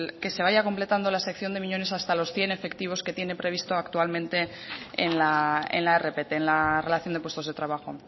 que se vaya completando la sección de miñones hasta los cien efectivos que tiene previsto actualmente en la rpt en la relación de puestos de trabajo